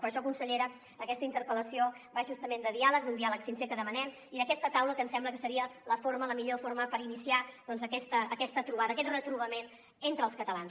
per això consellera aquesta interpel·lació va justament de diàleg d’un diàleg sincer que demanem i d’aquesta taula que ens sembla que seria la millor forma per iniciar aquesta trobada aquest retrobament entre els catalans